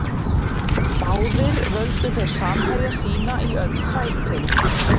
Báðir völdu þeir samherja sína í öll sætin.